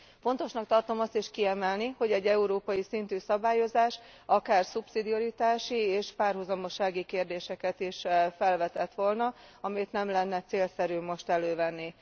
Fontosnak tartom azt is kiemelni, hogy egy európai szintű szabályozás akár szubszidiaritási és párhuzamossági kérdéseket is felvetett volna, amit nem lenne célszerű most elővenni.